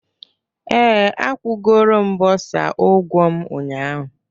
Ee, akwụgoro m bursar ụgwọ m ụnyahụ